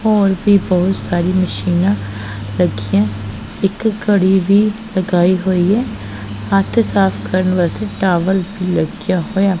ਔਰ ਵੀ ਬਹੁਤ ਸਾਰੀ ਮਸ਼ੀਨਾਂ ਰੱਖੀਆਂ ਇੱਕ ਘੜੀ ਵੀ ਲਗਾਈ ਹੋਈ ਐ ਹੱਥ ਸਾਫ ਕਰਨ ਵਾਸਤੇ ਟਾਵਲ ਵੀ ਲੱਗਿਆ ਹੋਇਆ--